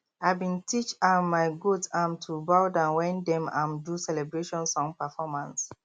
i been teach um my goat um to bow wen dem um do celebration song performance